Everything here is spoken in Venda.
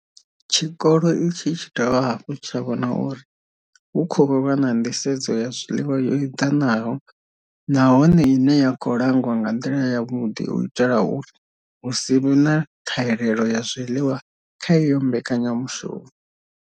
Tshikolo itshi tshi dovha hafhu tsha vhona uri hu khou vha na nḓisedzo ya zwiḽiwa yo eḓanaho nahone ine ya khou langwa nga nḓila yavhuḓi u itela uri hu si vhe na ṱhahelelo ya zwiḽiwa kha iyo mbekanyamushumo.